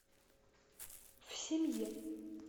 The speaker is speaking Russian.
в семье